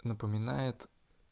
напоминает